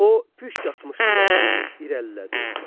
O, püşk atmışdılar deyib irəlilədi.